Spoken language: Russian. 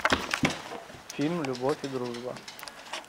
фильм любовь и дружба